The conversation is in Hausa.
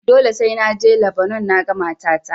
Dole sai na je Labanon naga matata.